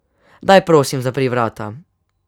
Daj, prosim, zapri vrata.